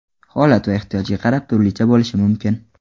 Holat va ehtiyojga qarab turlicha bo‘lishi mumkin.